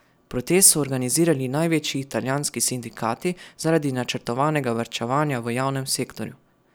Protest so organizirali največji italijanski sindikati zaradi načrtovanega varčevanja v javnem sektorju.